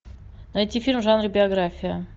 найти фильм в жанре биография